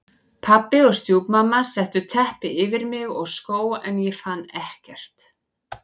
Pabbi og stjúpmamma settu teppi yfir mig og skó en ég fann ekkert.